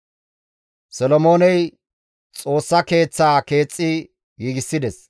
Solomooney Xoossa Keeththaa keexxi giigides.